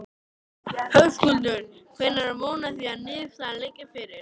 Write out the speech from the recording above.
Höskuldur: Hvenær er von á því að niðurstaða liggi fyrir?